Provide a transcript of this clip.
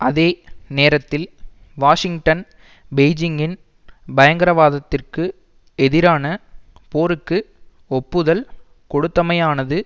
அதே நேரத்தில் வாஷிங்டன் பெய்ஜிங்கின் பயங்கரவாதத்திற்கு எதிரான போருக்கு ஒப்புதல் கொடுத்தமையானது